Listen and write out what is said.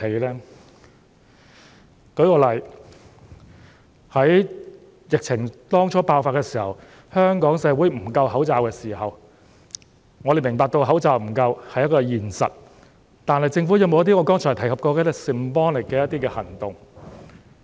讓我舉個例子，在疫情剛爆發時，香港社會口罩不足，我們明白口罩不足是一個現實，但政府有否採取一些我剛才提及的 symbolic 的行動？